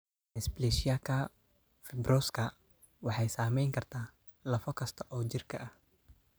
Dysplasiaka Fibrouska waxay saameyn kartaa lafo kasta oo jirka ah.